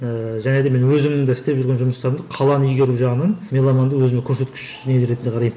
ііі және де мен өзімнің де істеп жүрген жұмыстарымды қаланы игеру жағынан меломанды өзіме көрсеткіш не ретінде қараймын